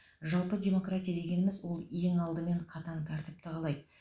жалпы демократия дегеніміз ол ең алымен қатаң тәртіпті қалайды